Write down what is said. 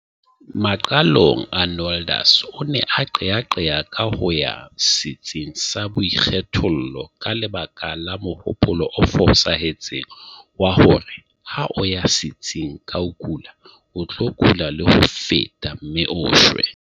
Maqalong Arnoldus o ne a qeaqea ka ho ya setsing sa boikgethollo ka lebaka la mohopolo o fosahetseng wa hore ha o ya setsing ka o kula o tlo kula le ho feta mme o shwe.